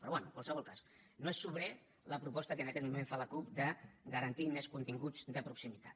però bé en qualsevol cas no és sobrera la proposta que en aquest moment fa la cup de garantir més continguts de proximitat